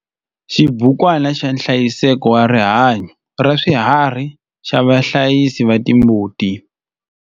Xibukwana xa nhlayiseko wa rihanyo ra swiharhi xa vahlayisi va timbuti.